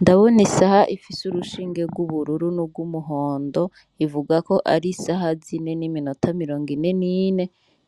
Ndabona isaha ifise urushinge gw'ubururu n'ugwumuhondo bivugako arisaha zine n'iminota nirongine nine,